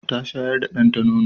Ta shayar da danta nono.